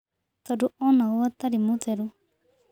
Tondũ onagwo atarĩ mũtheru